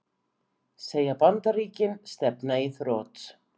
Segir Bandaríkin stefna í þrot